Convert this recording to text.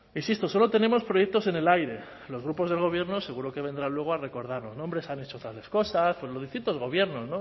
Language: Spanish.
insisto solo tenemos proyectos en el aire los grupos del gobierno seguro que vendrán luego a recordarnos nombres han hecho tales cosas pues los distintos gobiernos